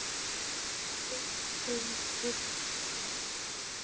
Pabbi þinn vill það.